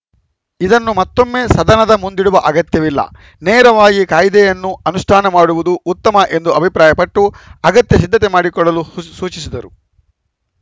ಇದನ್ನು ಮತ್ತೊಮ್ಮೆ ಸದನದ ಮುಂದಿಡುವ ಅಗತ್ಯವಿಲ್ಲ ನೇರವಾಗಿ ಕಾಯ್ದೆಯನ್ನು ಅನುಷ್ಠಾನ ಮಾಡುವುದು ಉತ್ತಮ ಎಂದು ಅಭಿಪ್ರಾಯಪಟ್ಟು ಅಗತ್ಯ ಸಿದ್ಧತೆ ಮಾಡಿಕೊಳ್ಳಲು ಸುಸ್ ಸೂಚಿಸಿದರು